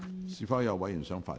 是否有委員想發言？